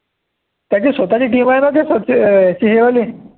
त्याची स्वतःची team आहे ना त्या मध्ये